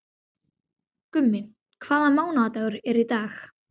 Gummi, hvaða mánaðardagur er í dag?